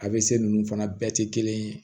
A bɛ se ninnu fana bɛɛ tɛ kelen ye